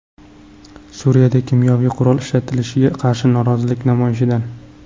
Suriyada kimyoviy qurol ishlatilishiga qarshi norozilik namoyishidan.